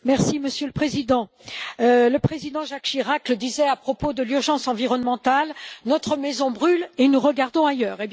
Monsieur le Président, le président Jacques Chirac le disait à propos de l'urgence environnementale Notre maison brûle et nous regardons ailleurs!.